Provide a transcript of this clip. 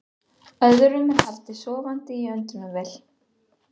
Öðrum er haldið sofandi í öndunarvél